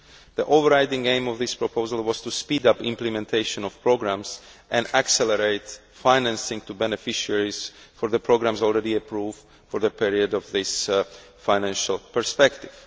The overriding aim of this proposal was to speed up implementation of programmes and accelerate financing to beneficiaries for the programmes already approved for the period of this financial perspective.